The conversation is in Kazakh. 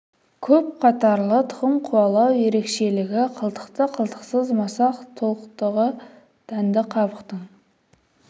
көпқатарлы тұқым қуалау ерекшелігі қылтықты қылтықсыз масақ толықтығы дәнді қабықтың